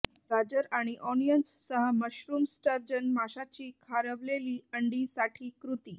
गाजर आणि ओनियन्स सह मशरूम स्टर्जन माशाची खारवलेली अंडी साठी कृती